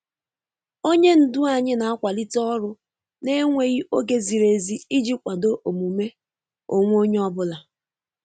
Onye ndu anyị na-akwalite ọrụ n'enweghị oge ziri ezi iji kwado omume onwe onye ọ bụla.